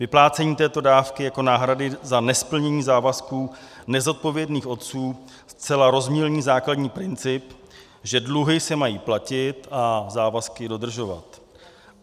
Vyplácení této dávky jako náhrady za nesplnění závazků nezodpovědných otců zcela rozmělní základní princip, že dluhy se mají platit a závazky dodržovat.